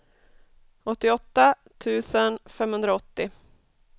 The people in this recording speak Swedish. åttioåtta tusen femhundraåttio